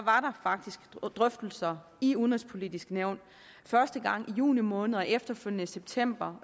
faktisk drøftelser i udenrigspolitisk nævn første gang i juni måned og efterfølgende i september